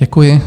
Děkuji.